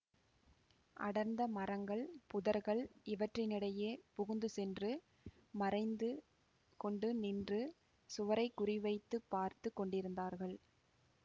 அடர்ந்த மரங்கள் புதர்கள் இவற்றினிடையே புகுந்து சென்று மறைந்து கொண்டு நின்று சுவரைக் குறி வைத்து பார்த்து கொண்டிருந்தார்கள்